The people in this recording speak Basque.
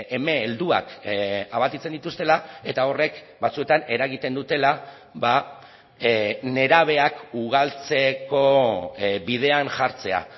eme helduak abatitzen dituztela eta horrek batzuetan eragiten dutela nerabeak ugaltzeko bidean jartzea